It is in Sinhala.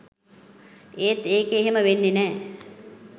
එත් ඒක එහෙම වෙන්නේ නැ